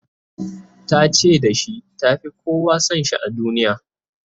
ta ce da shi ta Fi kowa San shi a duniya